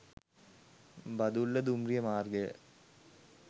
බදුල්ල දුම්රිය මාර්ගය